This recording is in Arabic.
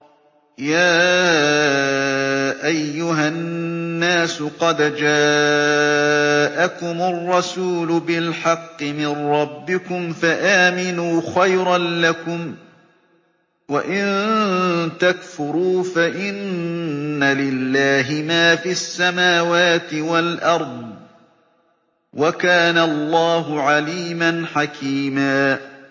يَا أَيُّهَا النَّاسُ قَدْ جَاءَكُمُ الرَّسُولُ بِالْحَقِّ مِن رَّبِّكُمْ فَآمِنُوا خَيْرًا لَّكُمْ ۚ وَإِن تَكْفُرُوا فَإِنَّ لِلَّهِ مَا فِي السَّمَاوَاتِ وَالْأَرْضِ ۚ وَكَانَ اللَّهُ عَلِيمًا حَكِيمًا